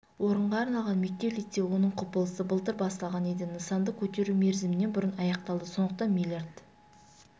орынға арналған мектеп-лицей оның құпылысы былтыр басталған еді нысанды көтеру мерзімінен бұрын аяқталды сондықтан миллиард